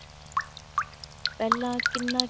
ਪਹਿਲਾ ਕਿੰਨਾ